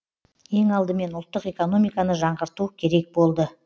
ең алдымен ұлттық экономиканы жаңғырту керек болды